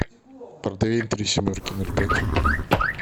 портвейн три семерки ноль пять